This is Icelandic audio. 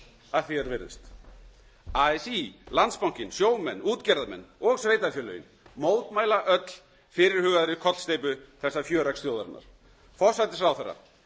að því er virðist así landsbankinn sjómenn útgerðarmenn og sveitarfélögin mótmæla öll fyrirhugaðri kollsteypu þessa fjöreggs þjóðarinnar forsætisráðherra